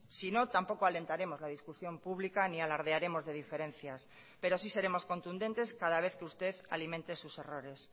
si no tampoco alentaremos la discusión pública ni alardearemos de diferencias pero sí seremos contundentes cada vez que usted alimente sus errores